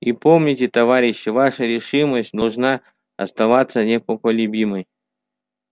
и помните товарищи ваша решимость должна оставаться непоколебимой